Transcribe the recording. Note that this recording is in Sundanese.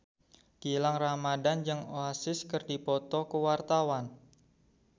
Gilang Ramadan jeung Oasis keur dipoto ku wartawan